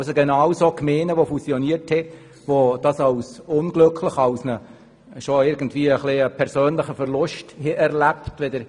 Die Basis, weshalb man damit angefangen hat, ist, dass das Wegfallen des Heimatorts in Gemeinden, die fusioniert haben, als persönlicher Verlust erlebt wird.